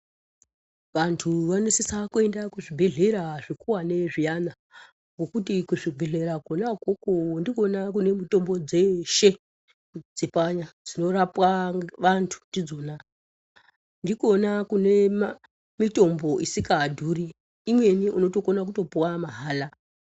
Vantu vanosisa kuenda kuzvibhedhlera zvikuwani zviyani, ngekuti kuzvibhedhlera kona ukoko ndikwona kune mitombo dzeeshe dzepanya dzinorapwa vanthu ndidzona ndikona kuno mitombo isingadhuri, imweni unotokona kutopuwa mahala.